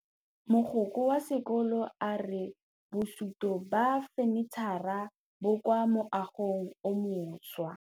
Mogokgo wa sekolo a re bosutô ba fanitšhara bo kwa moagong o mošwa.